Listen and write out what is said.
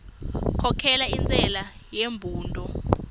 khokhela intshela yembudo